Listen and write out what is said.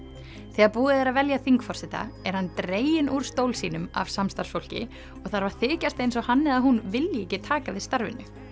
þegar búið er að velja þingforseta er hann dreginn úr stól sínum af samstarfsfólki og þarf að þykjast eins og hann eða hún vilji ekki taka við starfinu